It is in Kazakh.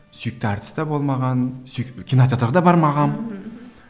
сүйікті әртіс де болмаған кинотеатрға да бармағанмын мхм